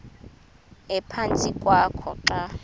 ephantsi kwakho xa